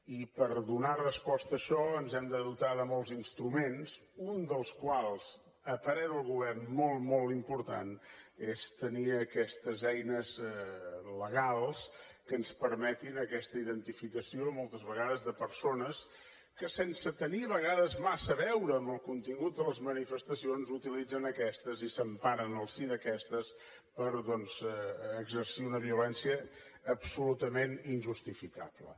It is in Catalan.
i per donar resposta a això ens hem de dotar de molts instruments un dels quals a parer del govern molt molt important és tenir aquestes eines legals que ens permetin aquesta identificació moltes vegades de persones que sense tenir a vegades massa a veure amb el contingut de les manifestacions utilitzen aquestes i s’emparen al si d’aquestes per exercir una violència absolutament injustificable